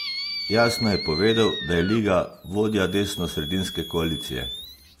Jasno je povedal, da je Liga vodja desnosredinske koalicije.